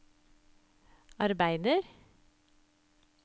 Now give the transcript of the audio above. arbeider